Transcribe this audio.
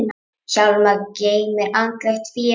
Hjálmar geymir andlegt fé.